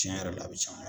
Tiɲɛ yɛrɛ la a bɛ caya